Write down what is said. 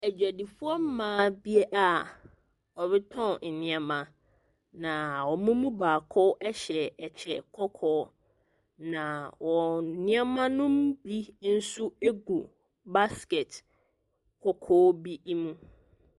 Adwadifoɔ mma a wɔretɔn nneɛma. Na wɔn mu baako hyɛ kyɛ kɔkɔɔ. Na wɔn nneɛma no bi nso gu baskɛt kɔkɔɔ mu.